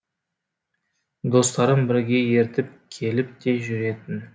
достарын бірге ертіп келіп те жүретін